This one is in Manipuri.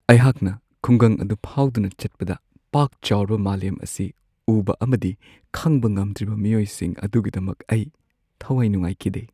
ꯑꯩꯍꯥꯛꯅ ꯈꯨꯡꯒꯪ ꯑꯗꯨ ꯐꯥꯎꯗꯨꯅ ꯆꯠꯄꯗ, ꯄꯥꯛꯆꯥꯎꯔꯕ ꯃꯥꯂꯦꯝ ꯑꯁꯤ ꯎꯕ ꯑꯃꯗꯤ ꯈꯪꯕ ꯉꯝꯗ꯭ꯔꯤꯕ ꯃꯤꯑꯣꯏꯁꯤꯡ ꯑꯗꯨꯒꯤꯗꯃꯛ ꯑꯩ ꯊꯋꯥꯏ ꯅꯨꯉꯥꯏꯈꯤꯗꯦ꯫